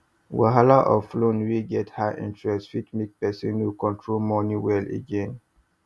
wahala of loan wey get high interest fit make person no fit control money well again